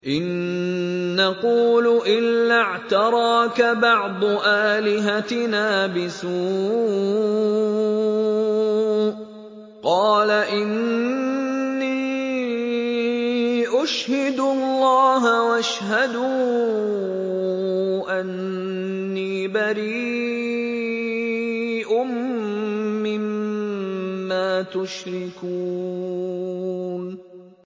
إِن نَّقُولُ إِلَّا اعْتَرَاكَ بَعْضُ آلِهَتِنَا بِسُوءٍ ۗ قَالَ إِنِّي أُشْهِدُ اللَّهَ وَاشْهَدُوا أَنِّي بَرِيءٌ مِّمَّا تُشْرِكُونَ